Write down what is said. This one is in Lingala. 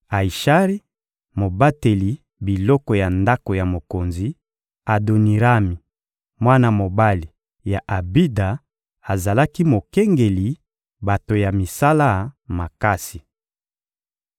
Ayishari, mobateli biloko ya ndako ya mokonzi; Adonirami, mwana mobali ya Abida, azalaki mokengeli bato ya misala makasi.